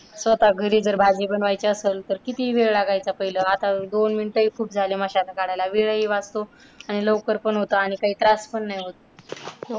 स्वतः घरी जर भाजी बनवायची असेल, तर किती वेळ लागायचा पहिल. आता दोन minute हि खूप झाली मशांन काढायला वेळही वाचतो आणि लवकर पण होत काही त्रास पण नाही होत.